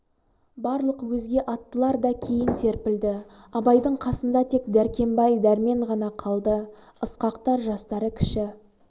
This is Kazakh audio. барлық өзге аттылар да кейін серпілді абайдың қасында тек дәркембай дәрмен ғана қалды ысқақтар жастары кіші